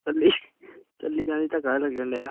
ਚੱਲੀ ਚੱਲੀ ਜਾਂਦੀ ਧੱਕਾ ਲੱਗਣਡਿਆ।